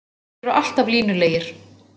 Þeir eru alltaf línulegir.